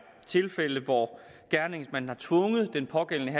tilfældet hvor gerningsmanden har tvunget den pågældende